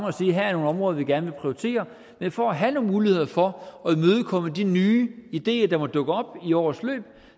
og sige her er nogle områder vi gerne vil prioritere men for at have nogle muligheder for at imødekomme de nye ideer der måtte dukke op i årets løb